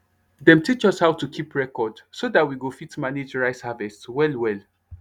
dem teach us how to keep record so that we go fit manage rice harvest well well